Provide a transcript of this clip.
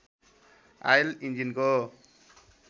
oil इन्जिनको